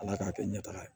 Ala k'a kɛ ɲɛtaga ye